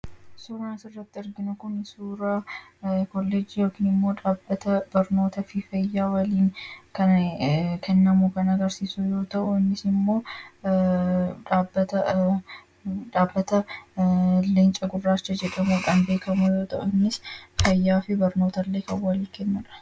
Suuraan asirratti arginu kun suuraa koolleejjii yookaan immoo dhaabbata barnootaa kan agarsiisu yoo ta’u, innis immoo dhaabbata Leenca Gurraacha jedhamuun beekamu yoo ta’u, innis fayyaa fi barnoota illee kan walii kennudha